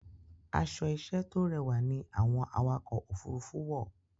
Àṣọ-iṣẹ́ tó rẹwà ní àwọn àwakọ̀-òfurufù wọ.